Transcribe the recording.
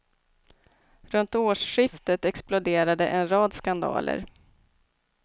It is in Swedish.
Runt årsskiftet exploderade en rad skandaler.